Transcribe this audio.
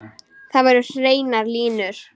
Þar voru hreinar línur.